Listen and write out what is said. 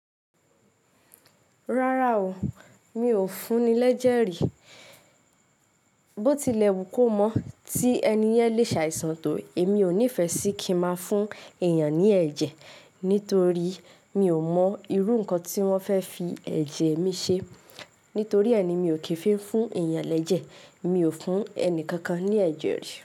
Rárá o, mi ò fún ni lẹ́jẹ̀rì. Bó tilẹ̀ wù kó mọ́ tí ẹni yẹn le ṣàìsàn tó èmi ò nífẹ sí kí ma fún èèyàn ní ẹ̀jẹ̀ nítorí mi ò mọ irú nǹkan tí wọ́n fẹ́ fi ẹ̀jẹ̀ mi ṣe. Nítorí ẹ ni mi ò kí ń fi fún èèyàn lẹ́jẹ̀, mi ò fún ẹni kankan ní ẹ̀jẹ̀ rí.